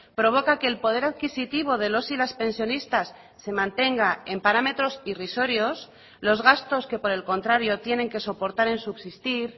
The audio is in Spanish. provoca que el poder adquisitivo de los y las pensionistas se mantenga en parámetros irrisorios los gastos que por el contrario tienen que soportar en subsistir